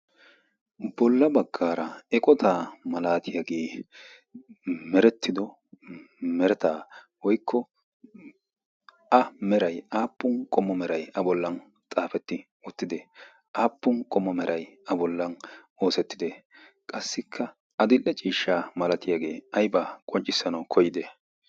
bolla baggaara eqotaa malaatiyaagee merettido meretaa woykko a merai aappun qommo meray a bollan xaafetti uttide aappun qommo merai a bollan oosettide qassikka a dille ciishsha malatiyaagee aibaa qonccissanau koyide?